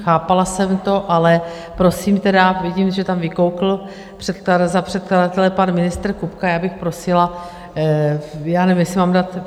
Chápala jsem to, ale prosím tedy - vidím, že tam vykoukl za předkladatele pan ministr Kupka, já bych prosila, já nevím, jestli mám dát...